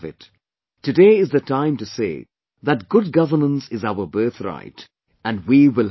" Today is the time to say that Good Governance is our birth right and we will have it